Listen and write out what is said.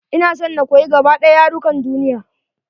Ina son na koyi gaba ɗaya yarukan duniya.